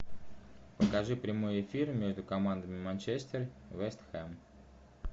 покажи прямой эфир между командами манчестер вест хэм